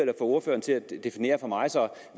ordføreren til at definere for mig